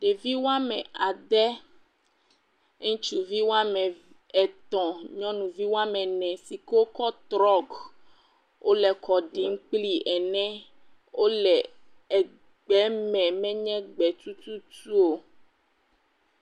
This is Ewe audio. Ɖevi woame ede, ŋutsuvi woame etɔ̃ ŋutsuvi woame ene yi ke wokɔ trɔk, wole kɔ ɖi kpli ene, wole egbe me menye gbetututu o.